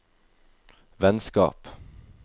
vennskap